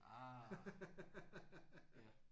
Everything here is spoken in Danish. Ah! Ja